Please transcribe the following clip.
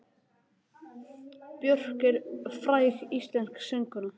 Björk er fræg íslensk söngkona.